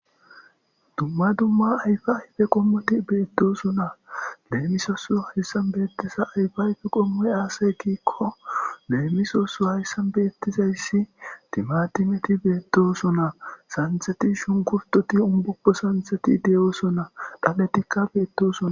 dumma dumma ayfa ayfe qommoti beettosona leemisosu hayssan beettisa ayfa ayfe qommoy aasay kiikko leemisosu hayssan beettizayssi timatimeti beettosona santheti shunkurtoti umbokko santheti deyoosona dhaletikka beettosona